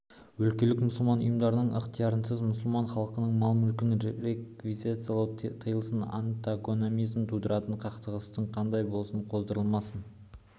өлкелік мұсылман ұйымдарының ықтиярынсыз мұсылман халқының мал-мүлкін реквизициялау тыйылсын антагонизм тудыратын қақтығыстардың қандайы болсын қоздырылмасын